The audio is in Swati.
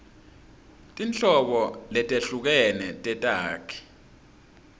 tinhlobo letehlukene tetakhi